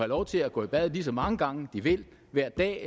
lov til at gå i bad lige så mange gange de vil hver dag